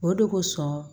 O de kosɔn